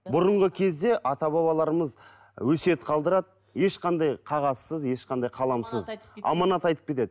бұрынғы кезде ата бабаларымыз өсиет қалдырады ешқандай қағазсыз ешқандай қаламсыз аманат айтып кетеді